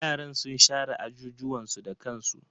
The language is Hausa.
Yaran sun share ajujuwan su da kansu.